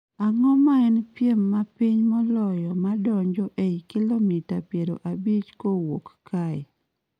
Ang'o ma en piem mapiny moloyo ma donjo ei kilomita piero abich kowuok kae